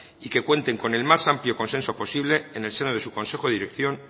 y que cuenten con el más amplio consenso posible en el seno de su consejo de dirección